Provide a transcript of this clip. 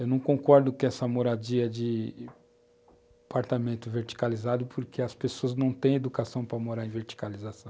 Eu não concordo com essa moradia de apartamento verticalizado porque as pessoas não têm educação para morar em verticalização.